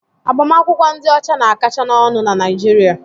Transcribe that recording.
Agbamakwụkwọ ndị ọcha na-akacha n'ọnụ na Naịjirịa.